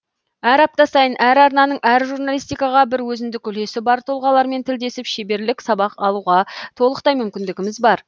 әр апта сайын әр арнаның әр журналистикаға бір өзіндік үлесі бар тұлғалармен тілдесіп шеберлік сабақ алуға толықтай мүмкіндіміз бар